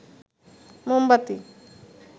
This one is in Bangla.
মোমবাতি